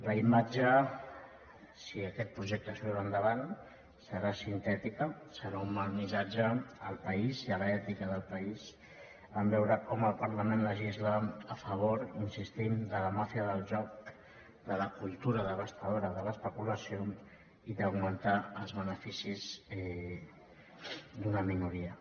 la imatge si aquest projecte surt endavant serà sintètica serà un mal missatge al país i a l’ètica del país en veure com el parlament legisla a favor hi insistim de la màfia del joc de la cultura devastadora de l’especulació i d’augmentar els beneficis d’una minoria